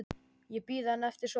Ég bíð enn eftir svari.